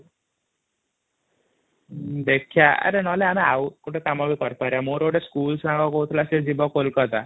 ଦେଖିବା ଆରେ ନହେଲେ ଆମେ ଗୋଟେ କାମ ବି କରିପାରିବ ମୋର ଗୋଟେ ସ୍କୁଲ ସାଙ୍ଗ କହୁଥିଲା ସେ ଯିବା କୋଲକାତା |